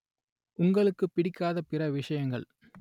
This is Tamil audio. உங்களுக்குப் பிடிக்காத பிற விஷயங்கள்